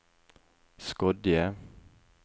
Skodje